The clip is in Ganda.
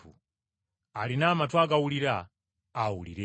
Alina amatu agawulira awulire.